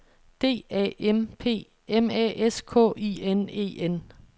D A M P M A S K I N E N